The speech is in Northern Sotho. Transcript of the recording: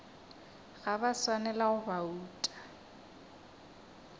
ga ba swanela go bouta